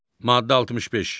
Maddə 65.